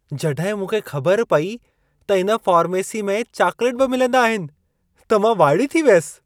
जॾहिं मूंखे ख़बर पई त इन फ़ार्मेसी में चाकलेट बि मिलंदा आहिन त मां वाइड़ी थी वियसि।